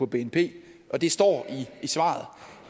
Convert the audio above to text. bnp og det står i svaret